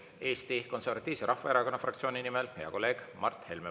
Eesti Konservatiivse Rahvaerakonna fraktsiooni nimel hea kolleeg Mart Helme.